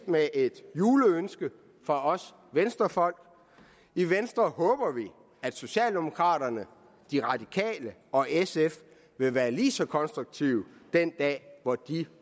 med et juleønske fra os venstrefolk i venstre håber vi at socialdemokraterne de radikale og sf vil være lige så konstruktive den dag hvor de